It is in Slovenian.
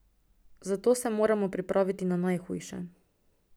Zato se moramo pripraviti na najhujše.